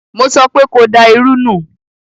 Mo sọpé ko da irú nù!